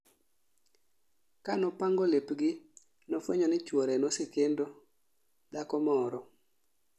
Ka nopango lepgi nofwenyo ni chwore nosekendo dhako moro